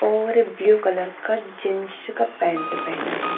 और blue colour का jeans का पैंट पहना है।